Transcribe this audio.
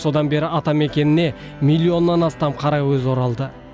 содан бері атамекеніне миллионнан астам қаракөз оралды